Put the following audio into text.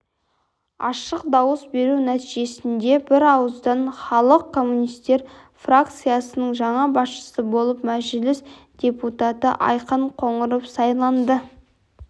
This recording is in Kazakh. ашық дауыс беру нәтижесінде бірауыздан халық коммунистері фракциясының жаңа басшысы болып мәжіліс депутаты айқын қоңыров сайланды